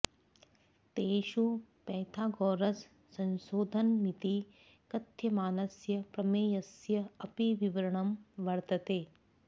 तेषु पैथागोरस् संशोधनमिति कथ्यमानस्य प्रमेयस्य् अपि विवरणं वर्तते